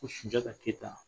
Ko sunjata keyita